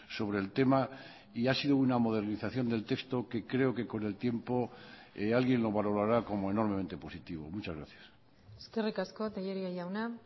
sobre el tema y ha sido una modernización del texto que creo que con el tiempo alguien lo valorará como enormemente positivo muchas gracias eskerrik asko tellería jauna